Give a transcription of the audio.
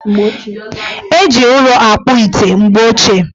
Eji ụrọ akpụ ite mgbe ochie.